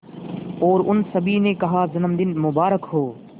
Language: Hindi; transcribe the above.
और उन सभी ने कहा जन्मदिन मुबारक हो